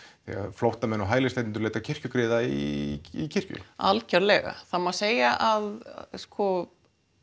flóttamenn og hælisleitendur leita kirkjugriða í kirkju algjörlega það má segja að sko